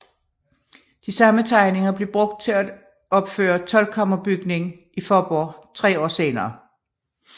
De samme tegninger blev brugt til at opføre toldkammerbygning i Faaborg tre år senere